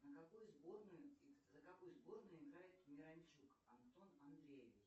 за какую сборную играет миранчук антон андреевич